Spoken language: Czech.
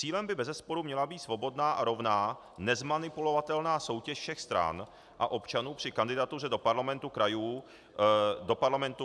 Cílem by bezesporu měla být svobodná a rovná, nezmanipulovatelná soutěž všech stran a občanů při kandidatuře do parlamentu, krajů nebo na prezidenta.